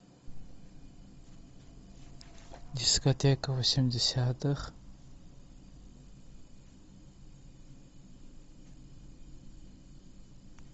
дискотека восьмидесятых